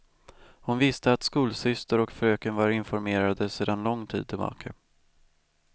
Hon visste att skolsyster och fröken var informerade sedan lång tid tillbaka.